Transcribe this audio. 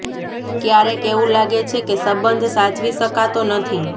ક્યારેક એવું લાગે છે કે સંબંધ સાચવી શકાતો નથી